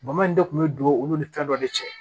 Bama in de kun bɛ don olu ni fɛn dɔ de cɛ